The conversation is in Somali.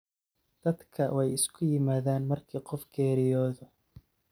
Dadka wai uskiyimadhan marki qof kageryodh.